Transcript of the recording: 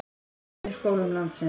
En í skólum landsins?